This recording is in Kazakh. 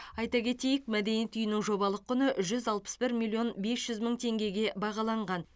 айта кетейік мәдениет үйінің жобалық құны жүз алпыс бір миллион бес жүз мың теңгеге бағаланған